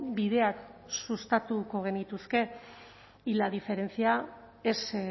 bideak sustatuko genituzke y la diferencia es